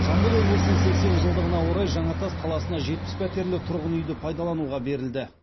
жамбыл облысының сексен жылдығына орай жаңатас қаласына жетпіс пәтерлі тұрғын үйді пайдалануға берілді